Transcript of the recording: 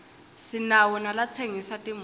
sinawo nalatsengisa timoto